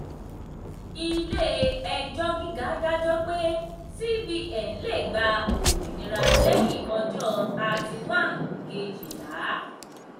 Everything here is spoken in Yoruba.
ilé-ẹjọ́ gíga dájọ́ pé cbn lè gba òmìnira lẹ́yìn ọjọ́ thirty one kejìlá.